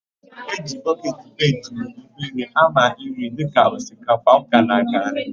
E ji bọketi penti nke obere ámà nri dịka osikapa, ọka na garị.